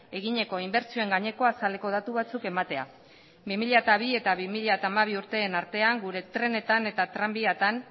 egineko inbertsioen gaineko azaleko datu batzuk ematea bi mila bi eta bi mila hamabi urteen artean gure trenetan eta tranbiatan